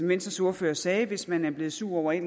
venstres ordfører sagde hvis man er blevet sur over at